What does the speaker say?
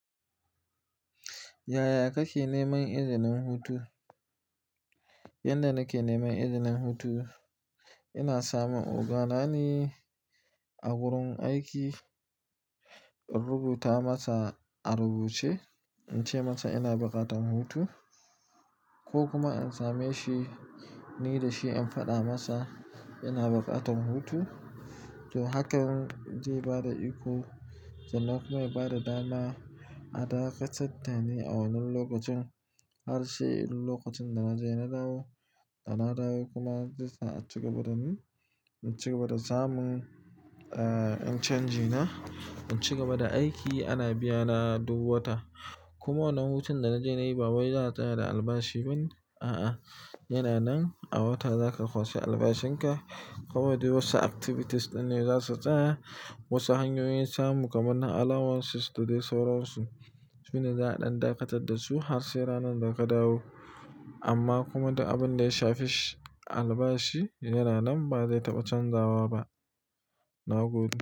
Yaya kake neman izinin hutu? Yanda nake neman izinin hutu, ina samu oganane a wurin aiki, in rubuta masa a rubuce in ce masa ina buƙatan hutu ko kuma in same shi ni da shi in faɗa masa ina buƙatan hutu. To, hakan zai bada iko, zai kuma bada dama a dakatar da ni a wannan lokacin. Har sai lokacin da na je na dawo, da na dawo kuma zai sa in cigaba da ni, in cigaba da samun, eh, in canji na, in cigaba da aiki ana biyana duk wata. Kuma wannan hutun da na je na yi ba wai za a tsaya da albashi bane, a'a. Yana nan a wata za ka kwashe albashin ka. Kuma duk wasu activities ɗin ne za su tsaya. Wasu hanyoyin samu kamar na allowances da dai sauransu sune za a ɗan dakatar da su har sai ranar da ka dawo. Amma kuma abin da ya shafi albashi yana nan ba zai taɓa canzawa ba. Na gode.